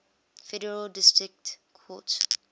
federal district courts